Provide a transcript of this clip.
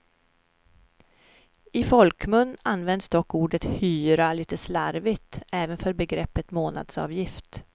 I folkmun används dock ordet hyra lite slarvigt även för begreppet månadsavgift.